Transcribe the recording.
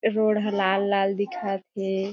ए road ह लाल-लाल दिखत हे।